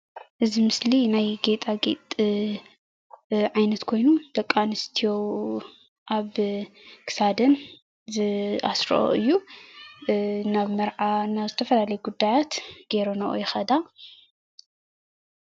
እዚ ምስሊ ናይ ጌጣጌጥ ዓይነት ኮይኑ ደቂ አንስትዮ አብ ክሳደን ዝአስረኦ እዩ፡፡ ናብ መርዓ ናብ ዝተፈላለየ ጉዳያት ጌረነኦ ይከዳ ፡፡